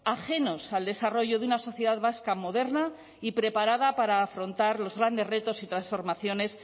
ajenos al desarrollo de una sociedad vasca moderna y preparada para afrontar los grandes retos y transformaciones